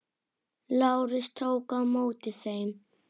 Lárus tók á móti þeim.